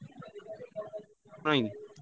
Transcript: ନାଇଁ?